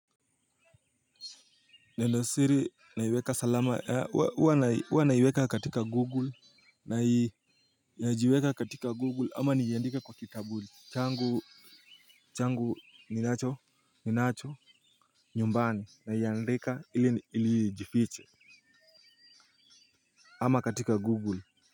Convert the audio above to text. Nenosiri naiweka salama ya huwa naiweka katika google nai inajiweka katika google ama niandike kwa kitabu changu changu ninacho ninacho nyumbani naiandika ilijifiche ama katika google.